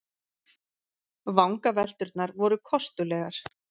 Vangavelturnar voru kostulegar.